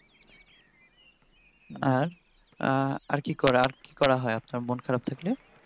আর আহ আর কি করা কি করা হয় আপনার মন খারাপ থাকলে মন খারাপ থাকলে ঘুরতে যাই বন্ধুদের বলি